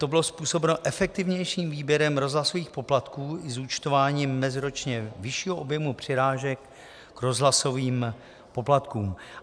To bylo způsobeno efektivnějším výběrem rozhlasových poplatků i zúčtováním meziročně vyššího objemu přirážek k rozhlasovým poplatkům.